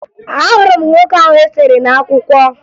Ahụrụ m nwoke ahụ e sere n'akwụkwọ